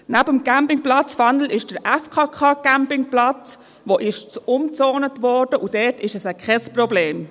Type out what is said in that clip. Neben dem Campingplatz Fanel befindet sich der FKK-Campingplatz, der umgezont wurde, und dort ist es kein Problem.